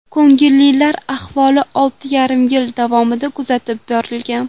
Ko‘ngillilar ahvoli olti yarim yil davomida kuzatib borilgan.